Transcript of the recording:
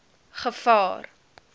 gevaar